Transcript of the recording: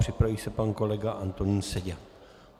Připraví se pan kolega Antonín Seďa.